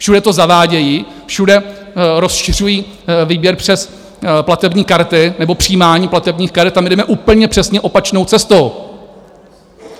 Všude to zavádějí, všude rozšiřují výběr přes platební karty nebo přijímání platebních karet, a my jdeme úplně přesně opačnou cestou.